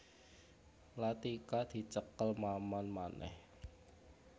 Latika dicekel Maman manèh